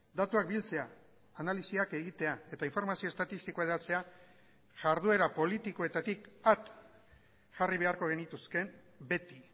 datuak biltzea analisiak egitea eta informazio estatistikoa hedatzea jarduera politikoetatik at jarri beharko genituzke beti